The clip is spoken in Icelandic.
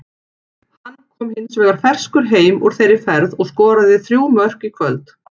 Hann kom hins vegar ferskur heim úr þeirri ferð og skoraði þrjú mörk í kvöld.